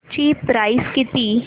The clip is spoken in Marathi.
ची प्राइस किती